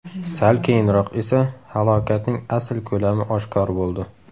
Sal keyinroq esa halokatning asl ko‘lami oshkor bo‘ldi.